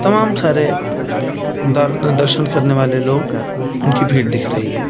तमाम सारे द दर्शन करने वाले लोग उनकी भीड़ दिख रही है।